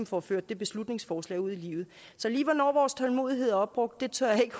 får ført det beslutningsforslag ud i livet så lige hvornår vores tålmodighed er opbrugt tør jeg ikke